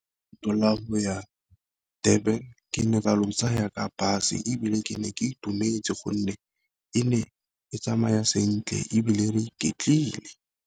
Leeto la go ya Durban ke ne ka le tsaya ka bus, ebile ke ne ke itumetse gonne e ne e tsamaya sentle ebile re ke tlile.